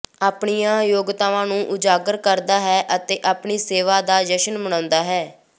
ਆਪਣੀਆਂ ਯੋਗਤਾਵਾਂ ਨੂੰ ਉਜਾਗਰ ਕਰਦਾ ਹੈ ਅਤੇ ਆਪਣੀ ਸੇਵਾ ਦਾ ਜਸ਼ਨ ਮਨਾਉਂਦਾ ਹੈ